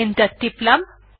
enter টিপলাম